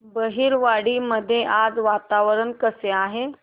बहिरवाडी मध्ये आज वातावरण कसे आहे